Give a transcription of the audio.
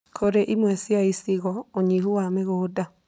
Kũrĩ imwe cia icigo, ũnyihu wa mĩgũnda